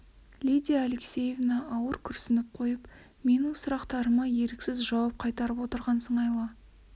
лидия алексеевна ауыр күрсініп қойып менің сұрақтарыма еріксіз жауап қайтарып отырған сыңайлы